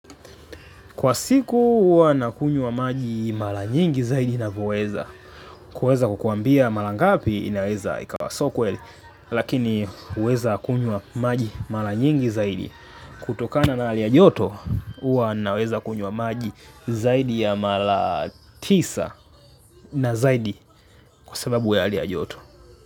Kwa siku uwa nakunywa maji mala nyingi zaidi napoweza. Kuweza kukuambia mala ngapi inaweza ikawa sio kweli lakini uweza kunywa maji mala nyingi zaidi. Kutokana na hali ya joto, uwa naweza kunywa maji zaidi ya mala tisa. Na zaidi, kwa sababu ya hali ya joto.